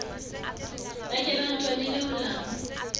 ba ke ba ntwanele molamu